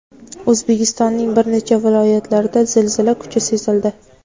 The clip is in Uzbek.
O‘zbekistonning bir nechta viloyatlarida zilzila kuchi sezildi.